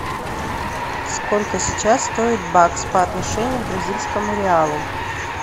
сколько сейчас стоит бакс по отношению к бразильскому реалу